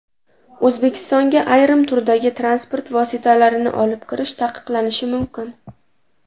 O‘zbekistonga ayrim turdagi transport vositalarini olib kirish taqiqlanishi mumkin.